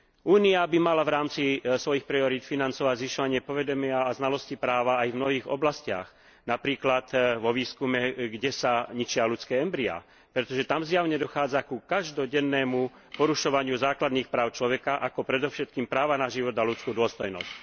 Únia by mala v rámci svojich priorít financovať zvyšovanie povedomia a znalosti práva aj v mnohých oblastiach, napríklad vo výskume, kde sa ničia ľudské embryá, pretože tam zjavne dochádza ku každodennému porušovaniu základných práv človeka, ako predovšetkým práva na život a ľudskú dôstojnosť.